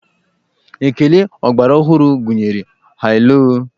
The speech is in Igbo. Ékélé ọgbaraọhụrụ gụnyere 'haloo'.